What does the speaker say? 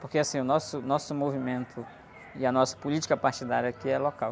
Porque assim, o nosso, nosso movimento e a nossa política partidária aqui é local.